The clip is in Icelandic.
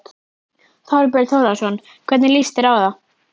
Þorbjörn Þórðarson: Hvernig líst þér á það?